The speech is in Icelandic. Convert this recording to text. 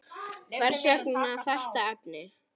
Hvers vegna þetta efni?